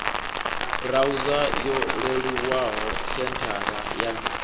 burauza yo leluwaho senthara ya